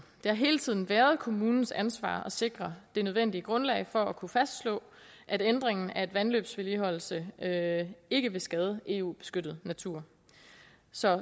det har hele tiden været kommunens ansvar at sikre det nødvendige grundlag for at kunne fastslå at ændringen af en vandløbsvedligeholdelse ikke vil skade eu beskyttet natur så